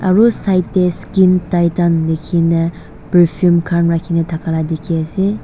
side dae skin Titan lekhena perfume khan rakhina thaka la dekhe ase.